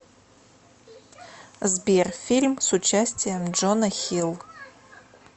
сбер фильм с участием джона хил